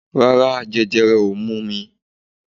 Rárá, jẹjẹrẹ ò mú mi